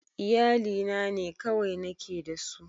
Iyalina ne kawai nake da su